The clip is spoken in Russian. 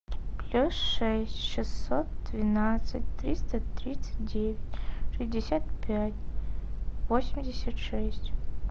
плюс шесть шестьсот двенадцать триста тридцать девять шестьдесят пять восемьдесят шесть